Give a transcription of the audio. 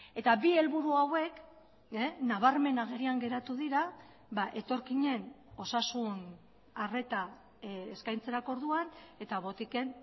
eta bi helburu hauek nabarmen agerian geratu dira etorkinen osasun arreta eskaintzerako orduan eta botiken